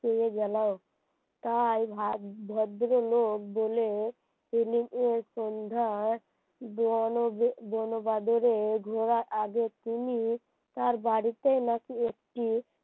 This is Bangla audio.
পেয়ে গেল তাই ভদ্রলোক বলে এই সন্ধ্যায় বনে বনে ও বাদরে ঘোড়া, তার বাড়িতে নাকি একটি